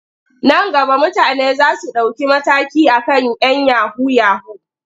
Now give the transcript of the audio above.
Nan gaba mutane za su ɗauki mataki a kan 'yan yahu-yahu.